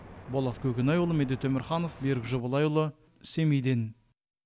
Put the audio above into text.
болат көкенайұлы медет өмірханов берік жобалайұлы семейден